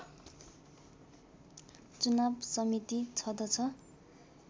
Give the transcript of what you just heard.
चुनाव समिति छ्दछ